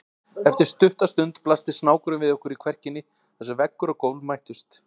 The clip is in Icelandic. Eftir stutta stund blasti snákurinn við okkur í kverkinni þar sem veggur og gólf mættust.